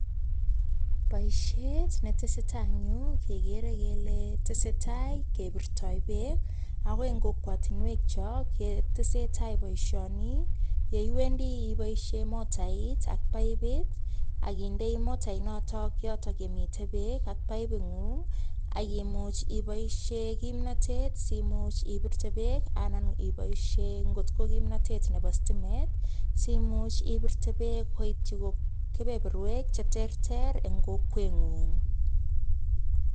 Boisiet ne tesetai eng yu kekere kele tesetai kebirtoi beek, ako eng kokwotinwekchok ketesetai boisioni, ye iwendi iboisie motait ak paipit ak kindei motainoto yotok ye mitei beek ak paipingung, ak imuch iboisie kimnotet simuch ibirte beek anan iboisie ngot ko kimnotet nebo stimet, simuch ibirte peek koityi kebeberwek che terter eng kokwengung.